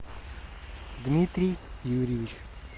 дмитрий юрьевич